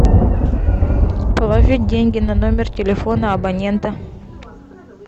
положить деньги на номер телефона абонента